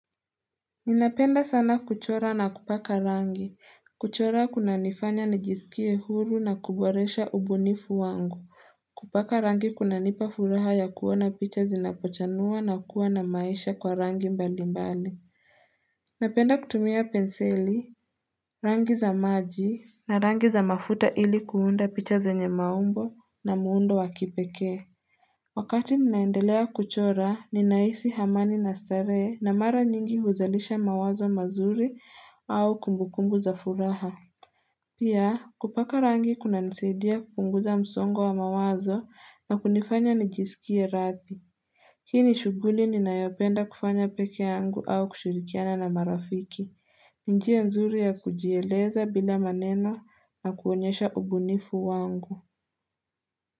Ninapenda sana kuchora na kupaka rangi. Kuchora kunanifanya nijisikie huru na kuboresha ubunifu wangu. Kupaka rangi kunanipa furaha ya kuona picha zinapochanua na kuwa na maisha kwa rangi mbali mbali. Napenda kutumia penseli, rangi za maji, na rangi za mafuta ili kuunda picha za nye maumbo na muundo wa kipekee. Wakati ninaendelea kuchora, ninahisi amani na starehe na mara nyingi huzalisha mawazo mazuri au kumbukumbu za furaha. Pia, kupaka rangi kunanisadia kupunguza msongo wa mawazo na kunifanya nijisikie rahi. Hii ni shughuli ninayopenda kufanya peke yangu au kushirikiana na marafiki. Njia nzuri ya kujieleza bila maneno na kuonyesha ubunifu wangu.